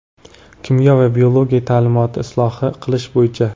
Kimyo va biologiya taʼlimini isloh qilish bo‘yicha.